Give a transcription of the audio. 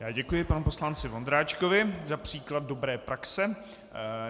Já děkuji panu poslanci Vondráčkovi za příklad dobré praxe.